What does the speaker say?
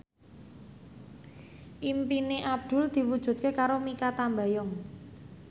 impine Abdul diwujudke karo Mikha Tambayong